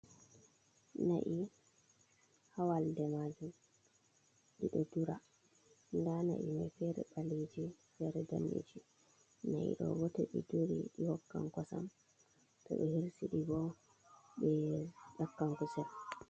Na'i ha walde majum diddo dura, da na'i mai fere baleji fere danniji, nai do to di duridi hokkan kosam to be hersidi bo be yakkan kusel.